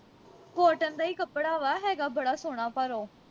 cotton ਦਾ ਈ ਕੱਪੜਾ ਵਾ ਹੈਗਾ ਬੜਾ ਸੋਹਣਾ ਪਰ ਉਹ